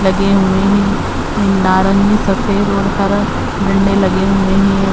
लगे हुए हैं। नारंगी सफ़ेद और हरा झंडे लगे हुए हैं।